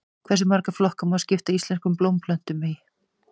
Hversu marga flokka má skipta íslenskum blómplöntum í?